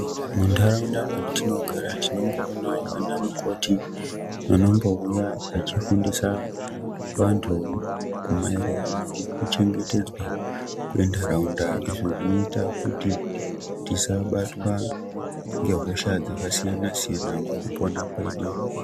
Muntaraunda matinogara tinomboonavo ana mukoti vanombouya vachifundisa vantu maererano nekuchengetedzwa kwentaraunda. Izvi zvinota kuti tisabatwa ngehosha dzakasiyana-siyana mukupona kwedu.